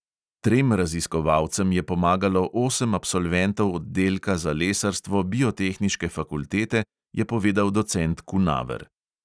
Trem raziskovalcem je pomagalo osem absolventov oddelka za lesarstvo biotehniške fakultete, je povedal docent kunaver.